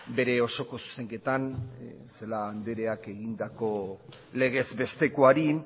bere osoko zuzenketan celaá andreak egindako legez bestekoari